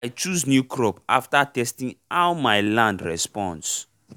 i chose new crop after testing how my land responds